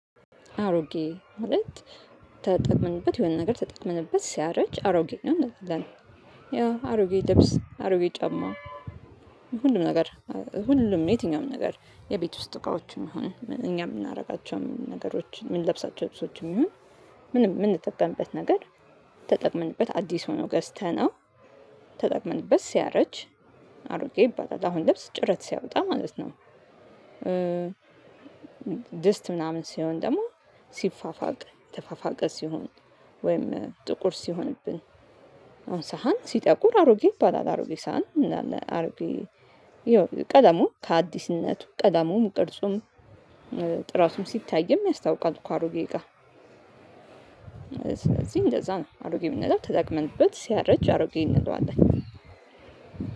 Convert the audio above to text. አሮጌ ማለት ተጠቅመንበት የሆነ ነገር ተጠቅመንበት ሲያረጅ አሮጌ ነው እንላለን ያው አሮጌ ልብስ አሮጌ ጫማ ሁሉም ነገር ሁሉም የትኛውም ነገር የቤት ውስጥ እቃዎችም ሆነ እኛ የምናደርጋቸው ነገሮችን የምንለብሳቸው ልብሶችም ይሁን ምንም የምንጠቀምበት ነገር ተጠቅመንበት አዲስ ሆኖ ገዝተነው ተጠቅመንበት ሲያረጅ አሮጌ ይባላል አሁን ልብስ ጭረት ሲያወጣ ማለት ነው። ድስት ምናምን ሲሆን ደግሞ ሲፋፋቅ የተፋፋቀ ሲሆን ወይም ጥቁር ሲሆንብን አሁን ሳህን ሲጠቁር አሮጌ ይባላል አሮጌ ሳህን እንላለን አሮጌ ያው ቀለሙ ከአዲስነቱ ቀለሙም ቅርጹም ጥራቱም ሲታይም ያስታውቃል እኮ አሮጌ እቃ ስለዚህ እንደዛ ነው አሮጌ የምንለው ተጠቅመንበት ሲያረጅ አሮጌ እንለዋለን።